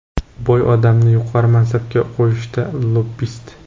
Boy odamni yuqori mansabga qo‘yishdi: - Lobbist!